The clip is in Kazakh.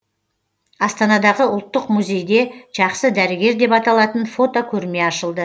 астанадағы ұлттық музейде жақсы дәрігер деп аталатын фотокөрме ашылды